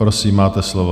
Prosím, máte slovo.